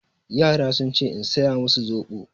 Yara sun ce in saya masu soɓo.